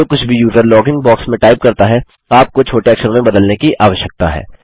जो कुछ भी यूज़र लॉगिन बॉक्स में टाइप करता है आपको छोटे अक्षरों में बदलने की आवश्यकता है